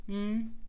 Mh